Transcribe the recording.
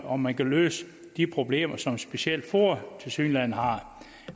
om man kan løse de problemer som specielt foa tilsyneladende har